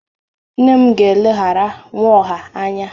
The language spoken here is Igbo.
Nne m ga-eleghara Nwaohia anya.